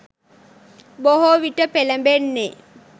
බොහෝවිට පෙළඹෙන්නේ